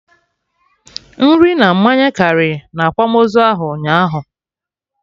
Nri na mmanya karị na akwamozu ahụ ụnyaahụ